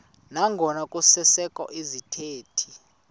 nangona kusekho izithethi